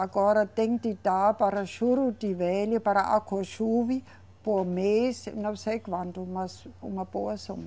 Agora tem que dar para Juruti Velho, para por mês, não sei quanto, mas uma boa soma.